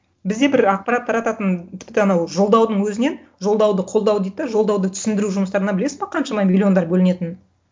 бізде бір ақпарат тарататын тіпті анау жолдаудың өзінен жолдауды қолдау дейді де жолдауды түсіндіру жұмыстарына білесің бе қаншама миллиондар бөлінетінін